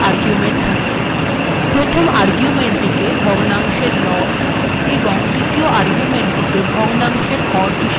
প্রথম আর্গুেমন্টটিকে ভগ্নাংশের লব এবং দ্বিতীয় আর্গুেমন্টটিকেও ভগ্নাংশের হর হিসাবে ব্যবহার করা হয়